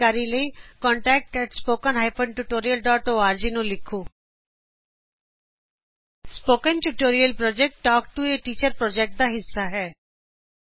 ਹੋਰ ਜਾਣਕਾਰੀ ਲਈ ਇਸ ਪਤੇ ਤੇ ਲਿਖੋ contactspoken tutorialorg spoken tutorial talk to a teacher project ਦਾ ਹਿੱਸਾ ਹੈ